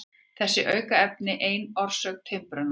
Þessi aukaefni eru ein orsök timburmanna.